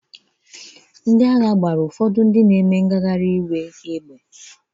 Ndị Amị ahụ gbara ụfọdụ ndị na-eme ngagharị iwe égbè.